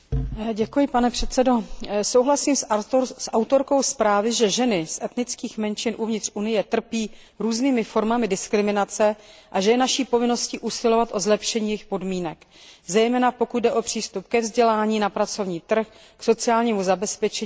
Souhlasím s autorkou zprávy, že ženy z etnických menšin uvnitř Unie trpí různými formami diskriminace a že je naší povinností usilovat o zlepšení jejich podmínek, zejména pokud jde o přístup ke vzdělání, na pracovní trh, k sociálnímu zabezpečení a také ke zdravotní péči.